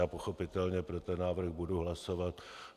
Já pochopitelně pro ten návrh budu hlasovat.